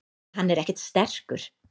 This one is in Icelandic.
Hann er ekkert sterkur.